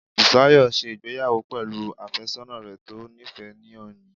Bùsáyọ̀ n ṣe ìgbéyàwó pẹ̀lú àfẹ́sọ́nà rẹ̀ tó níìfẹ́ ní òní